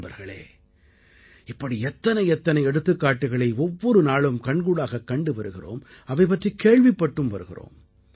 நண்பர்களே இப்படி எத்தனை எத்தனை எடுத்துக்காட்டுக்களை ஒவ்வொரு நாளும் கண்கூடாகக் கண்டு வருகிறோம் அவை பற்றிக் கேள்விப்பட்டும் வருகிறோம்